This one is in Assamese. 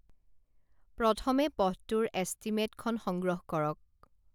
প্ৰথমে পথটোৰ এষ্টিমেটখন সংগ্ৰহ কৰক